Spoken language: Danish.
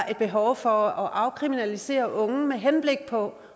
er behov for at afkriminalisere unge med henblik på